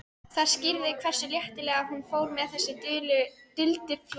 Það skýrði hversu léttilega hún fór með þessi duldu fræði.